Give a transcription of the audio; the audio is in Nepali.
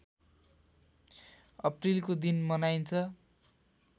अप्रिलको दिन मनाइन्छ